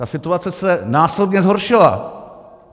Ta situace se násobně zhoršila.